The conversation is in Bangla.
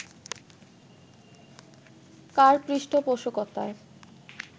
কার পৃষ্ঠপোষকতায়